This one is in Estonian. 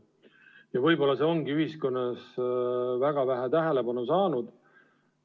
Ja võib-olla see ongi ühiskonnas väga vähe tähelepanu saanud.